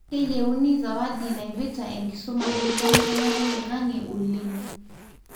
keyieuni sawadi naipirta enkisuma enkibelekenyata oloingange oleng.